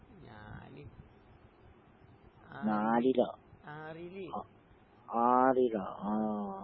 ഞാന് ആറ് ആറില്. ഉം.